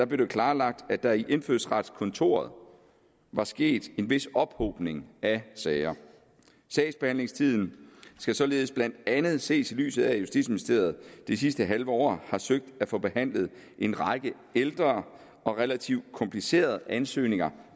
blev det klarlagt at der i indfødsretskontoret var sket en vis ophobning af sager sagsbehandlingstiden skal således blandt andet ses i lyset af at justitsministeriet det sidste halve år har søgt at få behandlet en række ældre og relativt komplicerede ansøgninger